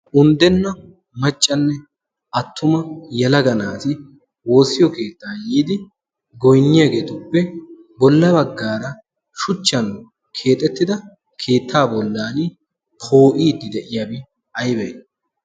Unddenna maccanne attuma yelaga naati woossiyo keettaa yiidi goynniyageetuppe bolla baggaara shuchchan keexettida keettaa bollan poo'iddi de'iyabi aybee?